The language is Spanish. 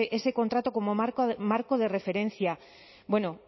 ese contrato como marco de referencia bueno